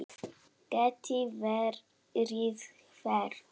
Geti verið hver?